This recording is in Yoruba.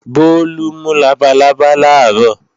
Bólú mú labalábá làárọ̀